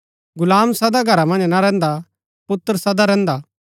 गुलाम सदा घरा मन्ज ना रैहन्दा पुत्र सदा रैहन्दा हा